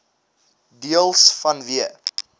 deels vanweë